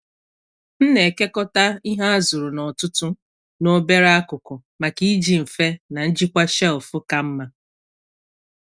M na-ekekọta ihe a zụrụ n’ọtụtù n’obere akụkụ maka iji mfe na njikwa shelf ka mma.